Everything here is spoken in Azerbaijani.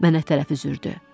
Mənə tərəf üzürdü.